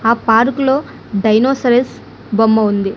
ఆ పార్కులో డైనోసరస్ బొమ్మ ఉంది.